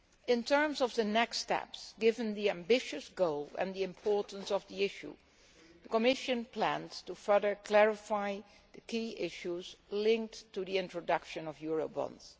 In terms of the next steps, given the ambitious goal and the importance of the issue, the Commission plans to further clarify the key issues linked to the introduction of Eurobonds.